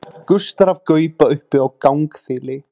gustar af gauba uppi á gangþili